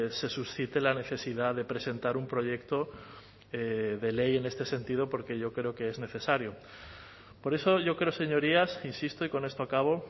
se suscite la necesidad de presentar un proyecto de ley en este sentido porque yo creo que es necesario por eso yo creo señorías insisto y con esto acabo